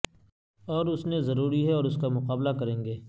اور اس نے ضروری ہے اور اس کا مقابلہ کریں گے